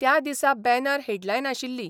त्या दिसा banner headline आशिल्ली.